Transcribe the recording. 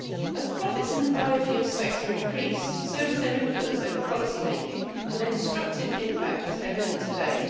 As profits in the biofuels sector increase, so does their influence over policy making, and their destructive impact was evident today.